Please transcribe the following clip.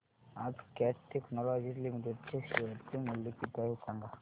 आज Cat technologies limited चे share चे मूल्य किती आहे सांगा